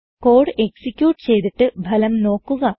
code execute ചെയ്തിട്ട് ഫലം നോക്കുക